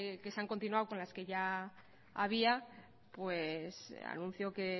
que se han continuado con las que ya había pues anuncio que